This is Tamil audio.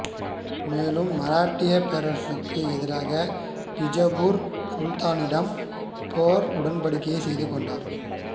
மேலும் மராட்டியப் பேரரசுக்கு எதிராக பிஜப்பூர் சுல்தானிடம் போர் உடன்படிக்கை செய்து கொண்டார்